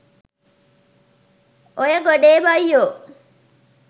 ඔය ගොඩේ බයියො